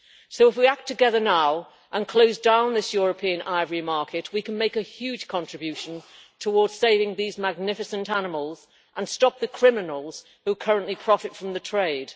So if we act together now and close down this European ivory market, we can make a huge contribution towards saving these magnificent animals and stop the criminals who currently profit from the trade.